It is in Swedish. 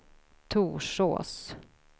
Torsås